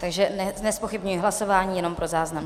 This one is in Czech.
Takže nezpochybňuji hlasování, jenom pro záznam.